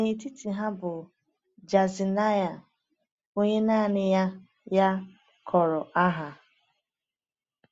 N’etiti ha bụ Jaazaniah, onye naanị ya ya kpọrọ aha.